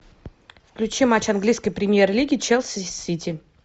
включи матч английской премьер лиги челси с сити